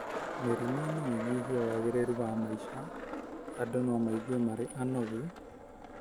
Mĩrimũ no ĩnyihie wagĩrĩru wa maica: Andũ no maigwe marĩ anogu,